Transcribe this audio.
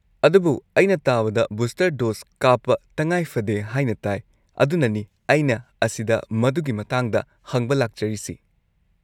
ꯑꯗꯨꯕꯨ ꯑꯩꯅ ꯇꯥꯕꯗ ꯕꯨꯁꯇꯔ ꯗꯣꯁ ꯀꯥꯞꯄ ꯇꯉꯥꯏ ꯐꯗꯦ ꯍꯥꯏꯅ ꯇꯥꯏ, ꯑꯗꯨꯅꯅꯤ ꯑꯩꯅ ꯑꯁꯤꯗ ꯃꯗꯨꯒꯤ ꯃꯇꯥꯡꯗ ꯍꯪꯕ ꯂꯥꯛꯆꯔꯤꯁꯤ꯫